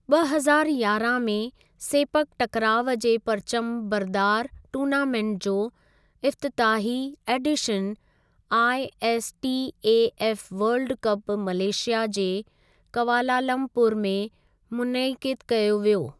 ॿ हज़ारु यारहां में सेपक टकराव जे परिचम बरदार टूर्नामेंट जो इफ़्तिताही एडीशन आईएसटीएएफ वर्ल्ड कपु मलेशिया जे कवालालमपुर में मुनइक़िद कयो वियो।